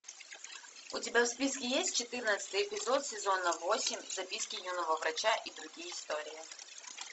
у тебя в списке есть четырнадцатый эпизод сезона восемь записки юного врача и другие истории